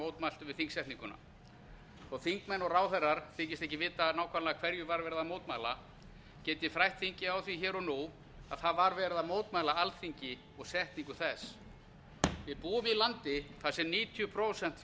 mótmæltu við þingsetninguna þótt þingmenn og ráðherrar þykist ekki vita nákvæmlega hverju verið var að mótmæla get ég frætt þingið um það hér og nú að það var verið að mótmæla alþingi og setningu þess við búum í landi þar sem níutíu prósent